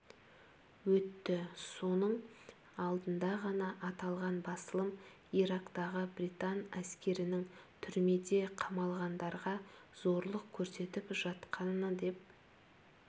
өтті соның алдында ғана аталған басылым ирактағы британ әскерінің түрмеде қамалғандарға зорлық көрсетіп жатқаны деп